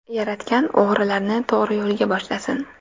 Yaratgan o‘g‘rilarni to‘g‘ri yo‘lga boshlasin.